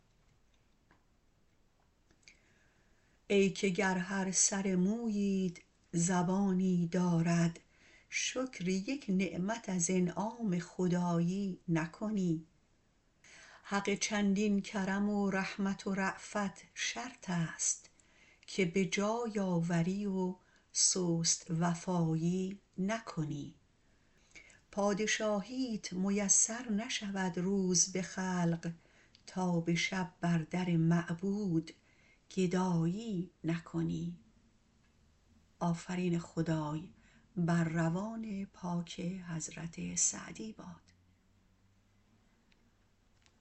ای که گر هر سر موییت زبانی دارد شکر یک نعمت از انعام خدایی نکنی حق چندین کرم و رحمت و رأفت شرطست که به جای آوری و سست وفایی نکنی پادشاهیت میسر نشود روز به خلق تا به شب بر در معبود گدایی نکنی